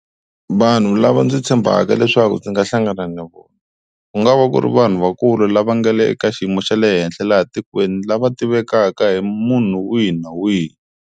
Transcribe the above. Vanhu lava ndzi tshembaka leswaku ndzi nga hlangana na vona ku nga va ku ri vanhu vakulu lava nga le eka xiyimo xa le henhla laha tikweni lava tivekaka hi munhu wihi na wihi.